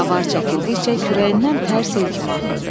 Avar çəkildikcə kürəyindən tərs el kimi axırdı.